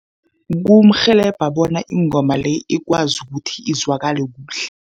Kumrhelebha bona ingoma le ikwazi ukuthi izwakale kuhle.